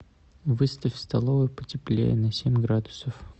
выставь в столовой потеплее на семь градусов